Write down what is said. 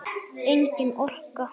Engin orka.